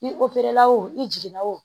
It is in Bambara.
I la o i jiginna wo